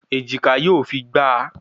Èjìká yóò fi gba a